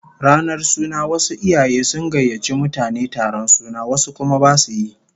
Ranar suna wasu iyaye sun gayyaci mutane taron suna, wasu kuma basu yi